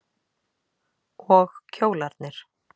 Og kjólarnir.